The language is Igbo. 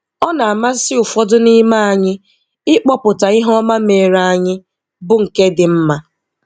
Ọ na-amasị ụfọdụ n'ime anyị ịkpọpụta ihe oma meere anyị, bụ nke dị mma.